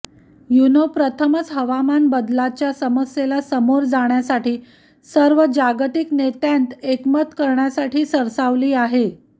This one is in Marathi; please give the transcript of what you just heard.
यूनो प्रथमच हवामान बदलाच्या समस्येला समोर जाण्यासाठी सर्व जागतिक नेत्यांत एकमत करण्यासाठी सरसावली आहे